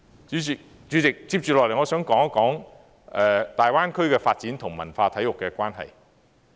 主席，接下來我想討論大灣區的發展與文化體育的關係。